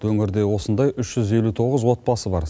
өңірде осындай үш жүз елу тоғыз отбасы бар